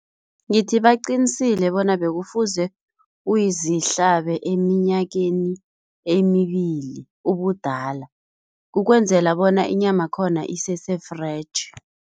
Ngithi baqinisile bona bekufuze uyizihlabe eminyakeni emibili ubudala ukwenzela bona inyamakhona isese-fresh.